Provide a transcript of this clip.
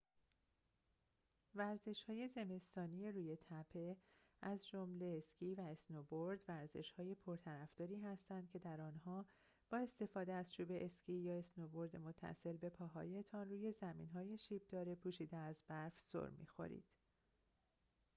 ورزش‌های زمستانی روی تپه از جمله اسکی و اسنوبورد ورزش‌های پرطرفداری هستند که در آنها با استفاده از چوب اسکی یا اسنوبورد متصل به پاهایتان روی زمین‌های شیب‌دار پوشیده از برف سرمی‌خورید